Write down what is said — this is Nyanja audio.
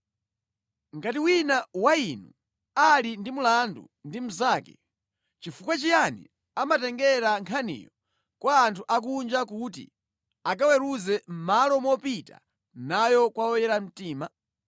Pamene wina wa inu ali ndi mlandu ndi mnzake, nʼchifukwa chiyani amatengera nkhaniyo kwa anthu akunja kuti akawaweruze mʼmalo mopita nayo kwa oyera mtima?